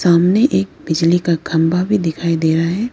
सामने एक बिजली का खंबा भी दिखाई दे रहा है।